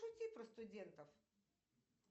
пошути про студентов